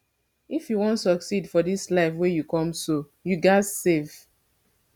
if you wan succeed for dis life wey you come so you ghas save